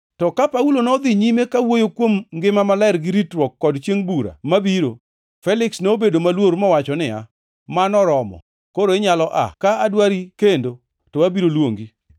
To ka Paulo nodhi nyime kawuoyo kuom ngima maler gi ritruok kod chiengʼ bura mabiro, Feliks nobedo maluor mowacho niya, “Mano oromo! Koro inyalo aa. Ka adwari kendo, to abiro luongi.”